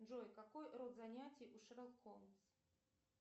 джой какой род занятий у шерлок холмс